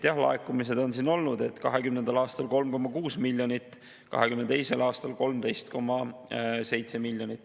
Laekumised on olnud sellised, et 2020. aastal 3,6 miljonit, 2022. aastal peaaegu 13,7 miljonit.